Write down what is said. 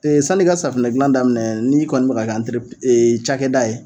san'i ka safinɛdilan daminɛ n'i kɔni bɛ ka kɛ cakɛda ye